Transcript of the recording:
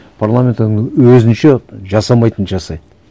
парламент оны өзінше жасамайтынды жасайды